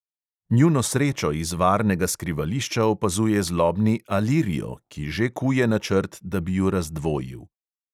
Njuno srečo iz varnega skrivališča opazuje zlobni alirio, ki že kuje načrt, da bi ju razdvojil.